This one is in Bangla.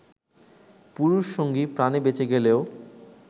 পুরুষ সঙ্গী প্রাণে বেঁচে গেলেও